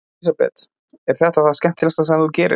Elísabet: Er þetta það skemmtilegasta sem þú gerir?